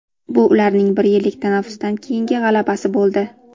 Bu ularning bir yillik tanaffusdan keyingi g‘alabasi bo‘ldi.